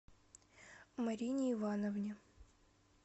марине ивановне